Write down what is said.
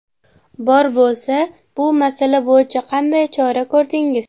Bor bo‘lsa, bu masala bo‘yicha qanday chora ko‘rdingiz?